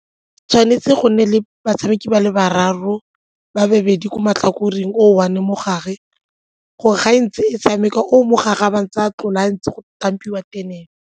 Tshwanetse go nne le batshameki ba le bararo, ba babedi ko matlhakoreng o one mo gare gore ga e ntse e tshameka o mo gare a ba a ntse a tlola ntse go .